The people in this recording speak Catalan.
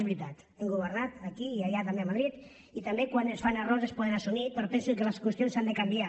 és veritat hem governat aquí i allà també a madrid i també quan es fan errors es poden assumir però penso que les qüestions s’han de canviar